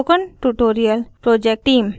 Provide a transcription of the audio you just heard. spoken tutorial project team: